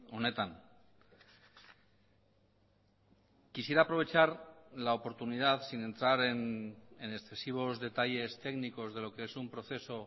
honetan quisiera aprovechar la oportunidad sin entrar en excesivos detalles técnicos de lo que es un proceso